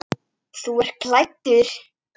Þú ert kaldur!